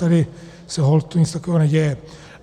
Tady se holt nic takového neděje.